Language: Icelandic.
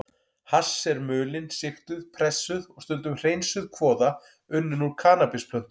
Hass er mulin, sigtuð, pressuð og stundum hreinsuð kvoða unnin úr kannabisplöntum.